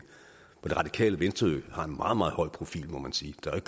og det radikale venstre har en meget meget høj profil må man sige der er